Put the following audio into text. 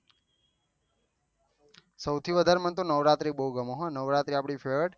સૌથી વધાર મને તો નવરાત્રી બહુ ગમે છે હા નવરાત્રું આપળી જોયા છે